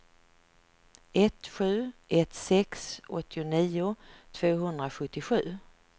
ett sju ett sex åttionio tvåhundrasjuttiosju